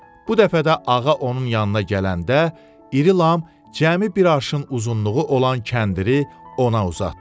Bu dəfə də ağa onun yanına gələndə İri Lam cəmi bir arşın uzunluğu olan kəndiri ona uzatdı.